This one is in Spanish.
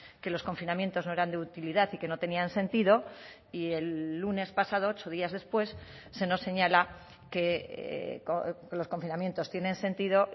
que los confinamientos no eran de utilidad y que no tenían sentido y el lunes pasado ocho días después se nos señala que los confinamientos tienen sentido